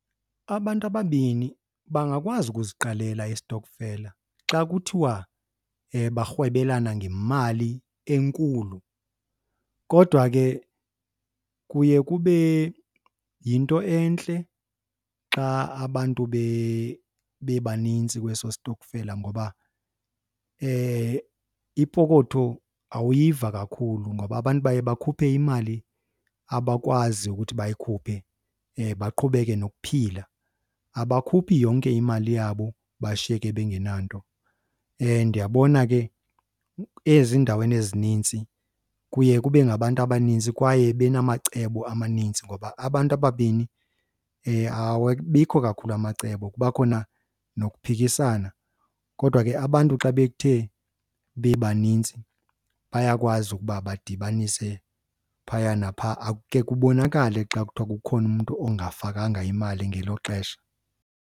Abantu ababini bangakwazi ukuziqalela istokfela xa kuthiwa barhwebelana ngemali enkulu. Kodwa ke kuye kube yinto entle xa abantu bebanintsi kweso stokfela ngoba ipokotho awuyiva kakhulu ngoba abantu baye bakhuphe imali abakwazi ukuthi bayikhuphe baqhubeke nokuphila. Abakhuphi yonke imali yabo bashiyeke bengenanto. Ndiyabona ke ezindaweni ezinintsi kuye kube ngabantu abaninzi kwaye benamacebo amanintsi ngoba abantu ababini awabikho kakhulu amacebo kuba khona nokuphikisana. Kodwa ke abantu xa bethe bebanintsi bayakwazi ukuba badibanise phaya naphaa, akukhe kubonakale xa kuthiwa kukhona umntu ongafakanga imali ngelo xesha.